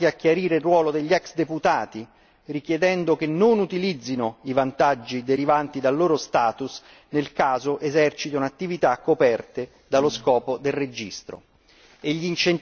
Ci siamo impegnati per chiarire il ruolo degli ex deputati, richiedendo che non utilizzino i vantaggi derivanti dal loro status nel caso esercitino attività coperte dallo scopo del registro.